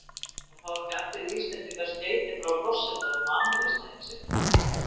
Það fá ekki allir Íslendingar skeyti frá forsetanum á afmælisdaginn sinn.